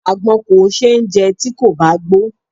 Àgbọn kò ṣe é jẹ tí kò bá gbó.